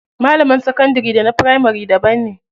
Malaman sakandari da na firamari daban ne.